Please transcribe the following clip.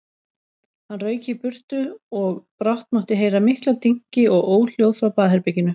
Hann rauk í burtu og brátt mátti heyra mikla dynki og óhljóð frá baðherberginu.